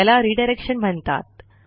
याला रिडायरेक्शन म्हणतात